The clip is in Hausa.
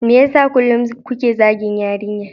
Me yasa kullum kuke zagin yarinyar?